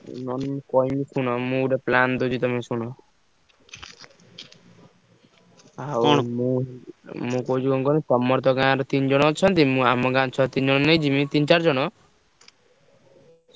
ନହେଲେ ମୁଁ କହିବି ଶୁଣ ମୁଁ ଗୋଟେ plan ଦଉଚି ଶୁଣ ମୁଁ କହୁଛି କଣ କହିଲ ତମର ତ ଗାଁ ରେ ତିନଜଣ ଅଛନ୍ତି ମୁଁ ଆମ ଗାଁ ରୁ ଛୁଆ ତିନ ଜଣ ନେଇଯିବି ତିନ ଚାରି ଜଣ